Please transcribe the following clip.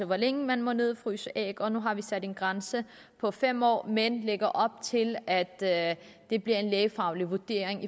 hvor længe man må nedfryse æg og nu har vi sat en grænse på fem år men lægger op til at at det bliver en lægefaglig vurdering